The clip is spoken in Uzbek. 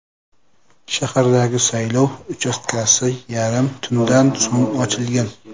Shahardagi saylov uchastkasi yarim tundan so‘ng ochilgan.